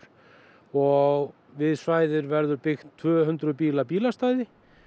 og við svæðið verður tvö hundruð bíla bílastæði